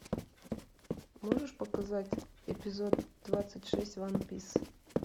можешь показать эпизод двадцать шесть ван пис